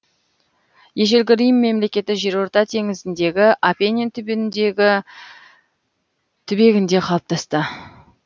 ежелгі рим мемлекеті жерорта теңізіндегі апенин түбегінде қалыптасты